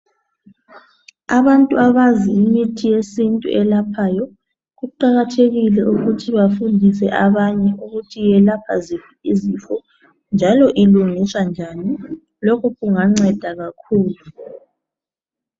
Abantu abazi imithi yesintu eyelaphayo kuqakathekile ukuthi bafundise abanye ukuthi iyelapha ziphi izifo njalo ilungiswa njani lokhu kunganceda kakhulu